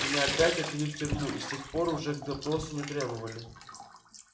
меня опять отвели в тюрьму и с тех пор уже к допросу не требовали